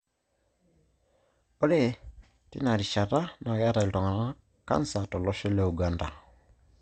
Ore tenarishata naakeeta iltung'ana cancer tolosho le Uganda.